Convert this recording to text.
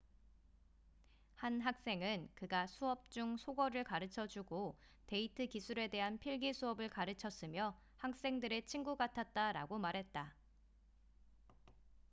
한 학생은 그가 수업 중 속어를 가르쳐주고 데이트 기술에 대한 필기 수업을 가르쳤으며 학생들의 친구 같았다'라고 말했다